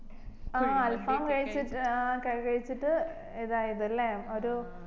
ആ അൽഫാമു കഴിച്ചിട്ട് ആ കഴിച്ചിട്ട് ഇതായതല്ലേ ഒരു